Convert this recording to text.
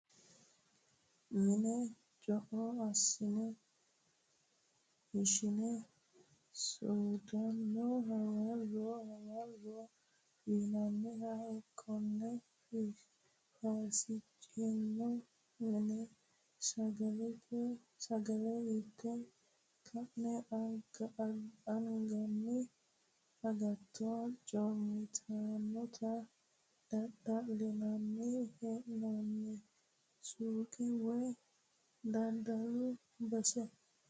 Mine co'o assi'ne ishine soodonna hawaro hawaro fi'nanniha kone fisasichonna mine sagale inte ka'ne anganni agatto coomittanotta daddalinann hee'noni suqe woyi daddalu base.